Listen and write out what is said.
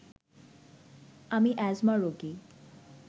আমি অ্যাজমা রোগী